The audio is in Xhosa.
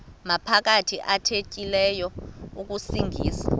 maphakathi athethileyo akusingisa